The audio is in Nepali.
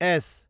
एस